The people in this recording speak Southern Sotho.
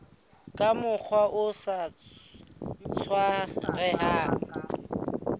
ka mokgwa o sa tlwaelehang